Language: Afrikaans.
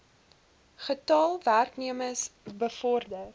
getal werknemers bevorder